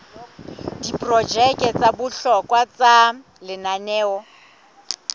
diprojeke tsa bohlokwa tsa lenaneo